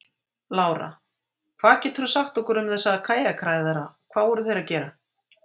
Lára: Hvað geturðu sagt okkur um þessa kajakræðara, hvað voru þeir að gera?